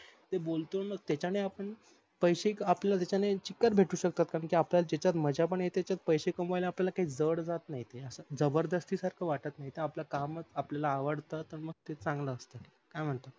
ते बोलतो न त्याच्यान आपल्याला पैसे त्याच्याने चिकट भेटत अस्तात्न कारण आपल्याल अम्ज्या येते पण पैसे कमवायला आपल्याला जड जात नाही ते अस जबरदस्ती सारख वाटत नाही त आपल कामच आपल्याला आवडत तर मग ते चांगल असत